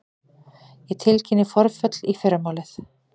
Ég tilkynni forföll í fyrramálið.